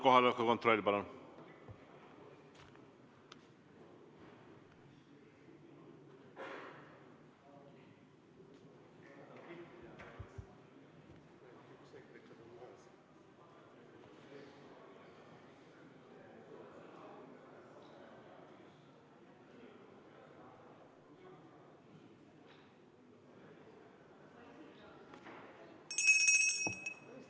Kohaloleku kontroll, palun!